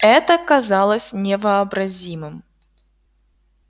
это казалось невообразимым